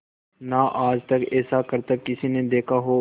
ना आज तक ऐसा करतब किसी ने देखा हो